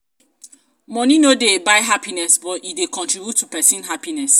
money no dey buy happiness but e dey contribute to person happiness